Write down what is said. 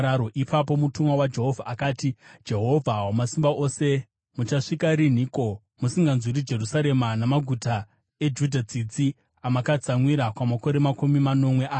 Ipapo mutumwa waJehovha akati, “Jehovha Wamasimba Ose muchasvika rinhiko musinganzwiri Jerusarema namaguta eJudha tsitsi amakatsamwira kwamakore makumi manomwe aya?”